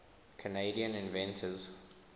canadian inventors